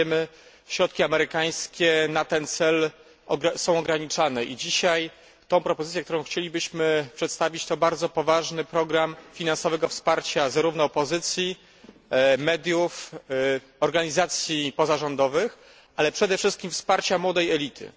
Jak wiemy, środki amerykańskie na ten cel są ograniczane i dzisiaj tę propozycję, którą chcielibyśmy przedstawić, to bardzo poważny program finansowego wsparcia zarówno opozycji, mediów, organizacji pozarządowych, ale przede wszystkim wsparcia młodej elity.